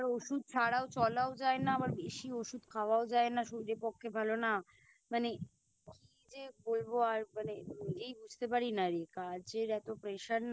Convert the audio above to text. আবার ওষুধ ছাড়াও চলাও যায় না আবার বেশি ওষুধ খাওয়াও যে না শরীরের পক্ষে ভালো না মানে কি যে করবো আর মানে নিজেই বুঝতে পারি নারে কাজের এতো Pressure না